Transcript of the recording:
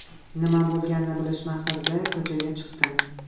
Nima bo‘lganini bilish maqsadida ko‘chaga chiqdim.